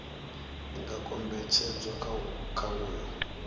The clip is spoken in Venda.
i nga kombetshedzwa kha uyo